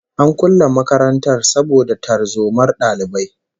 An kulle makarantar saboda tarzomar dalibai